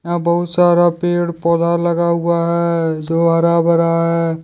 यहां बहुत सारा पेड़ पौधा लगा हुआ है जो हरा भरा है।